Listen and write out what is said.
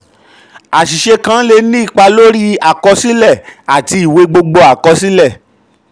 àṣìṣe kan le ni ipa lórí àkọsílẹ àti ìwé gbogbo àkọsílẹ. àkọsílẹ.